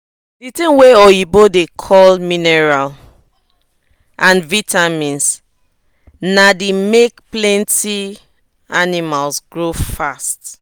the thing wa oyibo da call mineral and vitamins na the make plenty animals grow fast